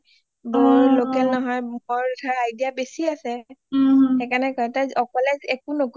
বৌ local নহয় বৌৰ ধৰা idea বেছি আছে সেইকাৰণে কয় তাই অকলে একো